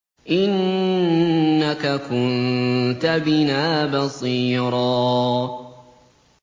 إِنَّكَ كُنتَ بِنَا بَصِيرًا